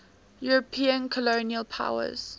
european colonial powers